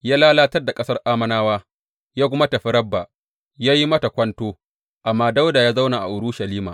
Ya lalatar da ƙasar Ammonawa ya kuma tafi Rabba ya yi mata kwanto, amma Dawuda ya zauna a Urushalima.